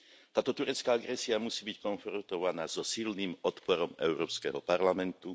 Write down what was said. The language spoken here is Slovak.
Táto turecká agresia musí byť konfrontovaná so silným odporom Európskeho parlamentu.